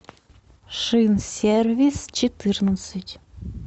шинсервисчетырнадцать